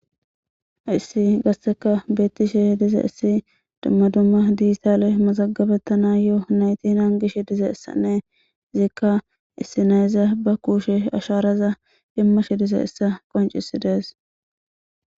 issi gasseka beettishe diza issi dumma dumma diistale mazagabettana yoo naytinan gish diza issannee ziikka issinayzya ba kuushe asharaza immashe dize issa qoncisi dees